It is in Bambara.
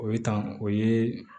O ye tan o ye